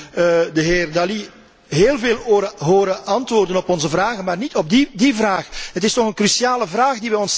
Ik heb de heer Dalli heel veel horen antwoorden op onze vragen, maar niet op die vraag. Het is toch een cruciale vraag.